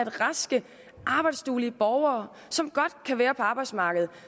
raske arbejdsduelige borgere som godt kan være på arbejdsmarkedet